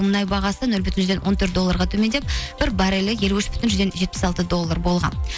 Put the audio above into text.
мұнай бағасы нөл бүтін жүзден он төрт долларға төмендеп бір баррелі елу үш бүтін жүзден жетпіс алты доллар болған